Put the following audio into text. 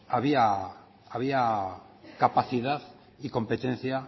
había capacidad y competencia